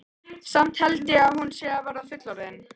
Samt held ég að hún sé að verða fullorðin.